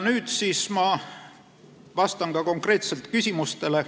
Nüüd ma vastan ka konkreetselt küsimustele.